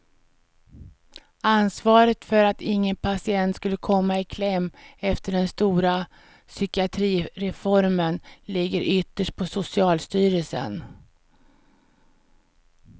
Ansvaret för att ingen patient skulle komma i kläm efter den stora psykiatrireformen ligger ytterst på socialstyrelsen.